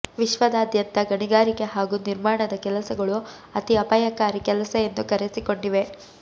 ವಿಶ್ವದಾದ್ಯಂತ ಗಣಿಗಾರಿಕೆ ಹಾಗೂ ನಿರ್ಮಾಣದ ಕೆಲಸಗಳು ಅತಿ ಅಪಾಯಕಾರಿ ಕೆಲಸ ಎಂದು ಕರೆಸಿಕೊಂಡಿವೆ